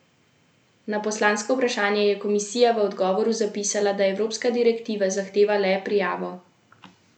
Na poslansko vprašanje je Komisija v odgovoru zapisala, da evropska direktiva zahteva le prijavo storitev turističnih agencij na tujem, če to zahteva država gostiteljica.